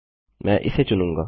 मैं इसे चुनूँगा